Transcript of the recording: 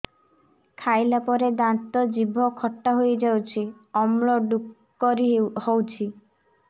ଖାଇଲା ପରେ ଦାନ୍ତ ଜିଭ ଖଟା ହେଇଯାଉଛି ଅମ୍ଳ ଡ଼ୁକରି ହଉଛି